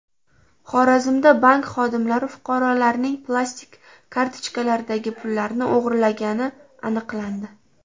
Xorazmda bank xodimlari fuqarolarning plastik kartochkalaridagi pullarni o‘g‘irlagani aniqlandi.